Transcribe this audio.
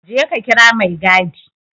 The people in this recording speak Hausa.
Je ka kira maigadi!